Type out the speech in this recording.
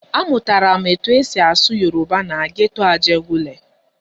Amụtara m etu esi asụ Yoruba na geto Ajegunle.